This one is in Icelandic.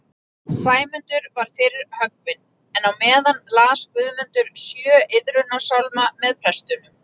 Sæmundur var fyrr höggvinn, en á meðan las Guðmundur sjö iðrunarsálma með prestunum